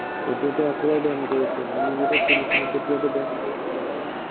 এতিয়াটো আকৌ banned কৰিছে। আমি যেতিয়া খেলিছিলো, তেতিয়াটো banned কৰিছিলেই এবাৰ।